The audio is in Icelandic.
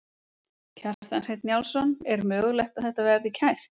Kjartan Hreinn Njálsson: Er mögulegt að þetta verði kært?